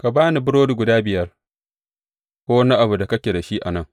Ka ba ni burodi guda biyar, ko wani abu da kake da shi a nan.